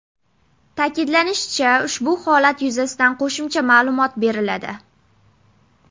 Ta’kidlanishicha, ushbu holat yuzasidan qo‘shimcha ma’lumot beriladi.